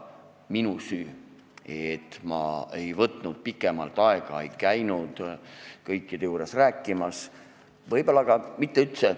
Minu süü, et ma ei võtnud pikemalt aega ega käinud kõikide juures rääkimas.